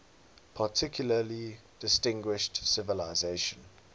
particularly distinguished civilization